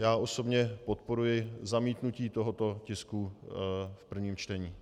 Já osobně podporuji zamítnutí tohoto tisku v prvním čtení.